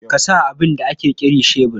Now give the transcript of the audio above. Ka sa abin da ake kiri shebur?